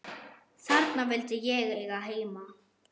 Þarna vildi ég eiga heima.